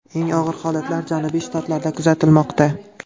Eng og‘ir holatlar janubiy shtatlarda kuzatilmoqda.